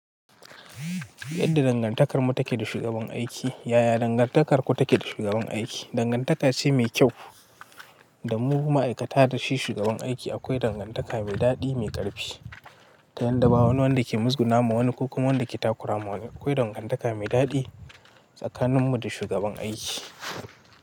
Yadda dangantakarmu take da shugaban aiki, yaya dangantarku take da shugaban aiki? Dangantaka ce mai kyau da mu ma'aikata da shi shugaban aiki. Akwai dangantaka mai daɗi, mai ƙarfi. Ta yadda ba wani wanda ke musguna ma wani, ko kuma wanda ke takura ma wani. Akwai dangantaka mai daɗi tsakaninmu da shugaban aiki.